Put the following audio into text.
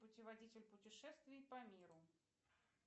путеводитель путешествий по миру